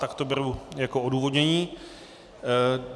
Tak to beru jako odůvodnění.